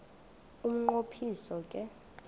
umnqo phiso ke